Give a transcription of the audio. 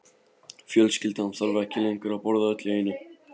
Fjölskyldan þarf ekki lengur að borða öll í einu.